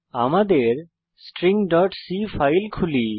আমাদের stringসি ফাইল খুলি